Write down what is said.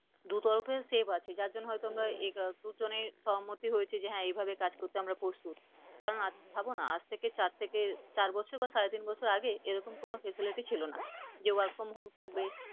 দু তরফের save আছে যার জন্য হয়তো আমরা সহমত হয়েছি যে হ্যাঁ এভাবে কাজ করতে আমরা প্রস্তুত। কারন ভাবনা আজ থেকে চার থেকে চার বছর বা সাড়ে তিন বছর আগে এরকম কোন facility ছিল না, যে work from home থাকবে,